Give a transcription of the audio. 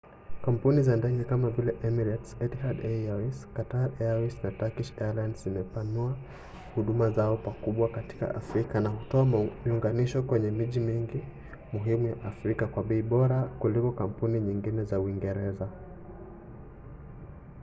kampuni za ndege kama vile emirates etihad airways qatar airways na turkish airlines zimepanua huduma zao pakubwa katika afrika na hutoa miunganisho kwenye miji mingi muhimu ya afrika kwa bei bora kuliko kampuni nyingine za uingereza